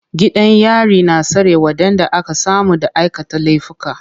Gidan yari na tsare waɗanda aka samu da aikata laifuka.